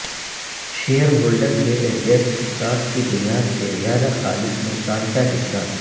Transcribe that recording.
share holder کے adjust stock کی بنیاد سے زیادہ خالص نقصان کا حصہ